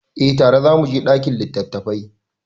Eh tare za mu je ɗakin littattafai.